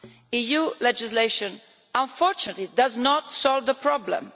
EU legislation unfortunately does not solve the problem.